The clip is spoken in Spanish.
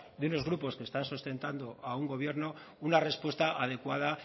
de unos grupos que están sustentando a un gobierno una respuesta adecuada